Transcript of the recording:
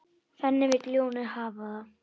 Þannig vill ljónið hafa það.